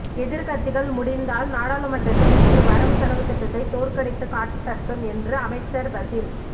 எதிர்க்கட்சிகள் முடிந்தால் நாடாளுமன்றத்தில் இன்று வரவு செலவுத் திட்டத்தை தோற்கடித்துக் காட்டட்டும் என்று அமைச்சர் பசில்